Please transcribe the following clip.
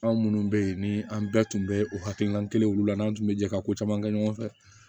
Anw munnu be yen ni an bɛɛ tun bɛ o hakilina kelenw la n'an tun bɛ jɛ ka ko caman kɛ ɲɔgɔn fɛ